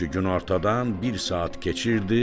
Çünki günortadan bir saat keçirdi